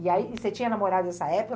E aí, você tinha namorado nessa época?